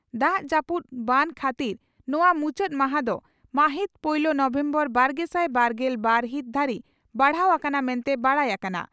ᱫᱟᱜ ᱡᱟᱹᱯᱩᱫ ᱵᱟᱱ ᱠᱷᱟᱹᱛᱤᱨ ᱱᱚᱣᱟ ᱢᱩᱪᱟᱹᱫ ᱢᱟᱦᱟ ᱫᱚ ᱢᱟᱹᱦᱤᱛ ᱯᱩᱭᱞᱟᱹ ᱱᱚᱵᱷᱮᱢᱵᱚᱨ ᱵᱟᱨᱜᱮᱥᱟᱭ ᱵᱟᱨᱜᱮᱞ ᱵᱟᱨ ᱦᱤᱛ ᱫᱷᱟᱹᱨᱤᱡ ᱵᱟᱲᱦᱟᱣ ᱟᱠᱟᱱᱟ ᱢᱮᱱᱛᱮ ᱵᱟᱰᱟᱭ ᱟᱠᱟᱱᱟ ᱾